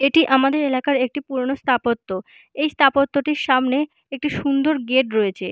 এটি আমাদের এলাকার একটি পুরনো স্থাপত্য। এই স্থাপত্যটির সামনে একটি সুন্দর গেট রয়েছে।